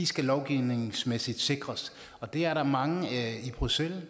skal lovgivningsmæssigt sikres og der er mange i bruxelles